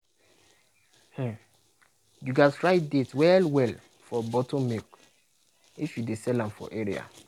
um you gats write date well well for bottle milk if you dey sell am for area.